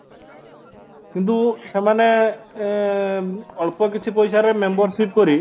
କିନ୍ତୁ ସେମାନେ ଏଁ ଅଳ୍ପ କିଛି ପଇସାରେ membership କରି